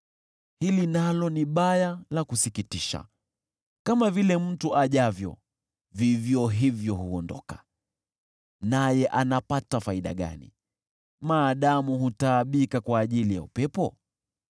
Hili nalo ni baya la kusikitisha: Kama vile mtu ajavyo, vivyo hivyo huondoka, naye anapata faida gani, maadamu hutaabika kwa ajili ya upepo?